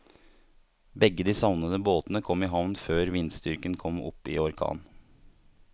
Begge de savnede båtene kom i havn før vindstyrken kom opp i orkan.